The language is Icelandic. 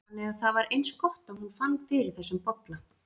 Þannig að það var eins gott að hún vann fyrir þessum bolla.